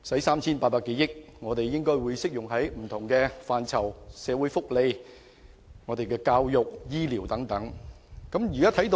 三千八百多億元的撥款應可用於不同範疇，包括社會福利、教育和醫療等方面。